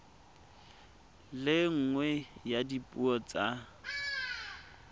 le nngwe ya dipuo tsa